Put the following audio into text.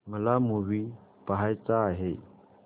मला मूवी पहायचा आहे